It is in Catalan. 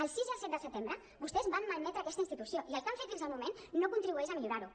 el sis i el set de setembre vostès van malmetre aquesta institució i el que han fet fins al moment no contribueix a millorar ho